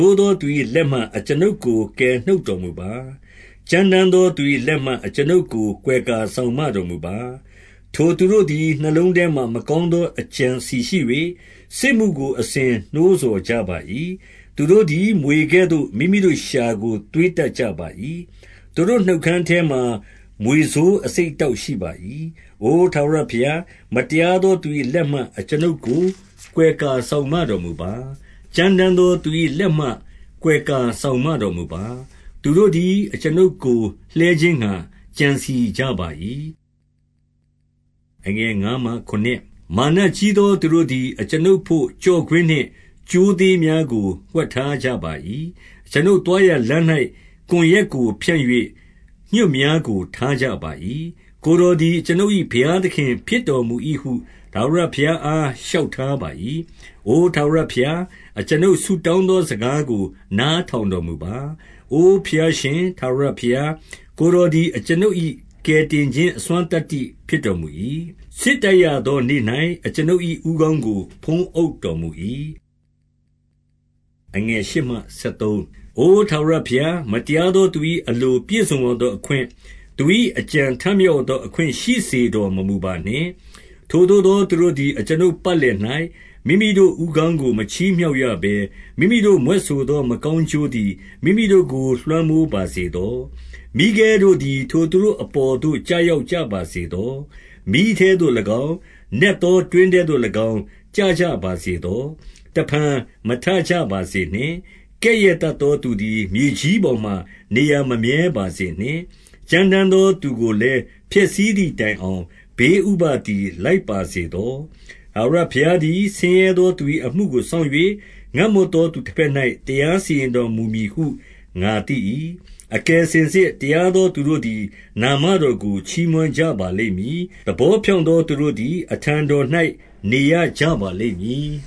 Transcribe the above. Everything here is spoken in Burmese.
ိုးသောသူ၏လက်မှ အကျွန်ုပ်ကို ကယ်နှုတ်တော်မူပါ။ ကြမ်းတမ်းသော သူ၏လက်မှ အကျွန်ုပ်ကို ကွယ်ကာစောင့်မတော်မူပါ။ ထိုသူတို့သည်နှလုံးထဲမှာမကောင်းသော အကြံ အစည်ရှိ၍၊ စစ်မှုကို အစဉ်နှိုးဆော်ကြပါ၏။ သူတို့သည်မြွေကဲ့သို့ မိမိတို့လျှာကို သွေးတတ် ကြပါ၏။ သူတို့နှုတ်ခမ်းအထဲမှာ မြွေဆိုးအဆိပ် အတောက်ရှိပါ၏။ အိုထာဝရဘုရား၊ မတရားသောသူ၏ လက်မှ အကျွန်ုပ်ကိုကွယ်ကာစောင့်မတော်မူပါ။ ကြမ်းတမ်းသော သူ၏လက်မှကွယ်ကာစောင့်မတော်မူပါ။ သူတို့သည် အကျွန်ုပ်ကိုလှဲခြင်းငှါ ကြံစည်ကြပါ၏။ မာနကြီးသောသူတို့သည် အကျွန်ုပ်ဘို့ ကျော့ ကွင်းနှင့်ကြိုးသေးများကို ဝှက်ထားကြပါ၏။ အကျွန်ုပ် သွားရာလမ်း၌ ကွန်ရွက်ကိုဖြန့်၍ ညွှတ်များကို ထားကြ ပါ၏။ ကိုယ်တော်သည်အကျွန်ုပ်၏ ဘုရားသခင်ဖြစ် တော်မူ၏ဟု ထာဝရဘုရားအား လျှောက်ထားပါ၏။ အိုထာဝရဘုရား၊ အကျွန်ုပ်ဆုတောင်းသောစကားကို နားထောင်တော်မူပါ။ အိုဘုရားရှင်ထာဝရဘုရား၊ ကိုယ်တော်သည် အကျွန်ုပ်၏ ကယ်တင်ခြင်းအစွမ်းသတ္တိဖြစ်တော်မူ၏။ စစ်တိုက်ရသောနေ့၌ အကျွန်ုပ် ၏ဦးခေါင်းကို ဖုံးအုပ် တော်မူ၏။ အိုထာဝရဘုရား၊ မတရားသောသူ၏ အလို ပြည့်စုံရသောအခွင့်၊ သူ၏အကြံထမြောက်ရသောအခွင့် ရှိစေတော်မမူပါနှင့်။ ထိုသို့သောသူတို့သည် အကျွန်ုပ်ပတ်လည်၌၊ မိမိတို့ဦးခေါင်းကို မချီးမြှောက်ရဘဲ၊ မိမိတို့မြွက်ဆိုသော မကောင်းကျိုးသည် မိမိတို့ကို လွှမ်းမိုးပါစေသော။ မီးခဲတို့သည် ထိုသူတို့အပေါ်သို့ ကျရောက်ကြပါ စေသော။ မီးထဲသို့၎င်း၊ နက်သောတွင်းထဲသို့၎င်း ကျကြ ပါစေသော။ တဖန်မထကြပါစေနှင့်။ ကဲ့ရဲ့တတ်သောသူသည် မြေပေါ်မှာ နေရာမမြဲ ပါစေနှင့်။ ကြမ်းတမ်းသောသူကိုလည်း ဖျက်ဆီးသည် တိုင်အောင်ဘေးဥပဒ်သည် လိုက်ပါစေသော။ ထာဝရဘုရားသည်ဆင်းရဲသော သူ၏အမှုကို စောင့်၍၊ ငတ်မွတ်သောသူဘက်၌ တရားစီရင်တော်မူ မည်ဟု ငါသိ၏။ အကယ်စင်စစ် တရားသောသူတို့သည် နာမ တော်ကို ချီးမွမ်းကြပါလိမ့်မည်။ သဘောဖြောင့်သော သူတို့သည် အထံတော်၌နေရကြပါလိမ့်မည်